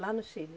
Lá no Chile?